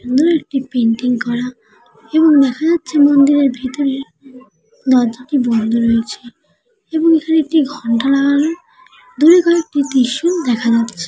একটি পিন্টিং করা এবং দেখা যাচ্ছে মন্দিরের ভিতরে দরজাটি বন্দ রয়েছে এবং এখানে একটি ঘন্টা লাগানো দূরে কয়েকটি ত্রিশূল দেখা যাচ্ছ।